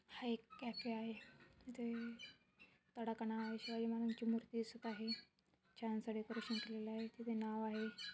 हा एक कॅफे आहे इथे तडकणा शिवाजी महाराजांची मूर्ति दिसत आहे छान स डेकोरशन केलेलं आहे तिथे नाव आहे.